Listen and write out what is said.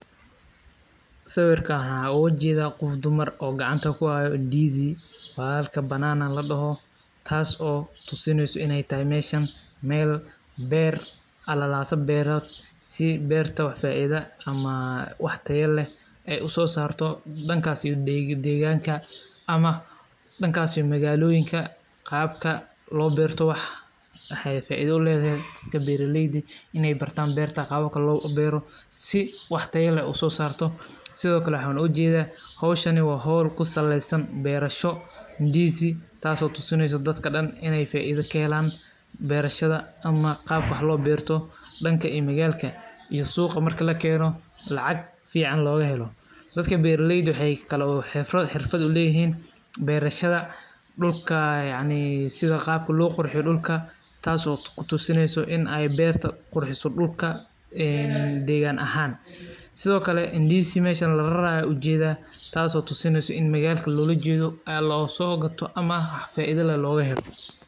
Waa mid ka mid ah dalalka ugu wax soo saarka badan ee mooska, taas oo keentay in ay noqoto meel muhiim ah ee dhoofinta iyo kaydinta midhahaas, gaar ahaan marka loo eego xilli qaboobaha iyo xeebaha kala duwan ee qaaradda Afrika, taas oo sabab u ah in moosku uu yeesho macaan iyo qaab qurux badan oo ka duwan kuwa dalalka kale, sidaas awgeed waxaa jira warshado iyo mashruuco badan oo lagu maareeyo beeraha mooska iyo samaynta waxyaabaha laga sameeyo mooska sida mooska qalajiyey, mooska cusboonaysiiyey, iyo mooska la shiiday oo loo isticmaalo in lagu sameeyo baasta, keegmo, iyo cuntooyin kale oo badan.